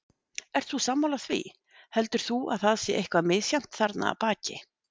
Ert þú sammála því, heldur þú að það sé eitthvað misjafnt þarna að baki?